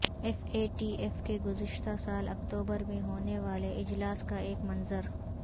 F A T F کے گزشتہ سال اکتوبر میں ہونے والے اجلاس کا ایک منظر